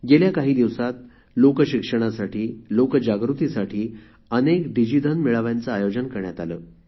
गेल्या काही दिवसात लोक शिक्षणासाठी लोकजागृतीसाठी अनेक डिजिधन मेळाव्यांचे आयोजन करण्यात आले